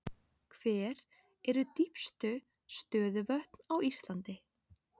Hver eru dýpstu stöðuvötn á Íslandi?